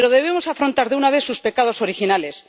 Pero debemos afrontar de una vez sus pecados originales.